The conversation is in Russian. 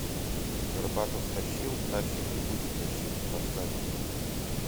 горбатов тащил тащит и будет тащить поставь